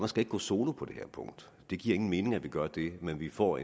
skal ikke gå solo på det her punkt det giver ingen mening at vi gør det men at vi får